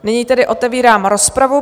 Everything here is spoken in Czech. Nyní tedy otevírám rozpravu.